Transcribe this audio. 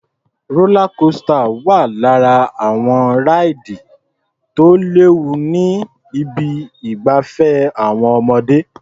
Rólá kosità wà lára àwọn ráìdì tí ò léwu ní ibi ìgbafẹ́ àwọn ọmọdé.